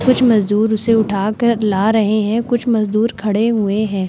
कुछ मजदूर उसे उठा कर ला रहे हैं। कुछ मजदूर खड़े हुए हैं।